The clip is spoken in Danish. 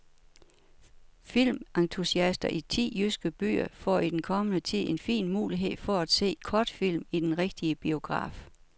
Filmentusiaster i ti jyske byer får i den kommende tid en fin mulighed for at se kortfilm i den rigtige biograf.